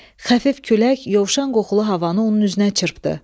Xəfif külək yovşan qoxulu havanı onun üzünə çırpdı.